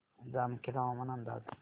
जामखेड हवामान अंदाज